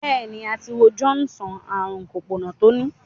béèni, a ti wo John sàn ààrùn Sopona to ni.